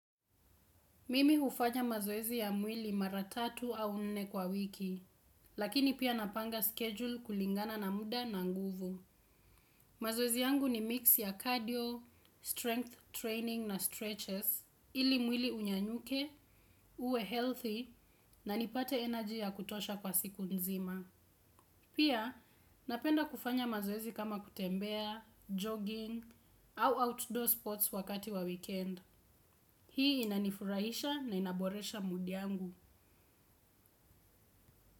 Mimi hufanya mazoezi ya mwili mara tatu au nne kwa wiki, lakini pia napanga schedule kulingana na muda na nguvu. Mazoezi yangu ni mix ya cardio, strength training na stretches, ili mwili unyanyuke, uwe healthy na nipate energy ya kutosha kwa siku nzima. Pia, napenda kufanya mazoezi kama kutembea, jogging au outdoor sports wakati wa weekend. Hii inanifurahisha na inaboresha mudi yangu.